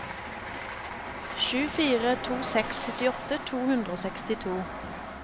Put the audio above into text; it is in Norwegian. sju fire to seks syttiåtte to hundre og sekstito